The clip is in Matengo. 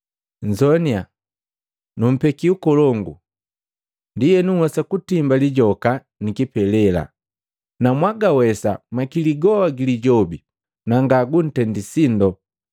Nzoaninya! Numpeki ukolongu, ndienu nhwesa kutimba lijoka ni kipelela, na mwagawesa makili goa gili Lijobi na nga gutendi sindo.